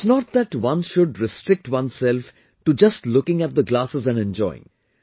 It's not that one should restrict oneself to just looking at the glasses and enjoying